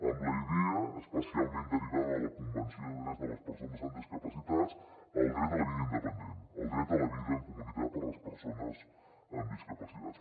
amb la idea especialment derivada de la convenció sobre els drets de les persones amb discapacitats del dret a la vida independent el dret a la vida en comunitat per a les persones amb discapacitats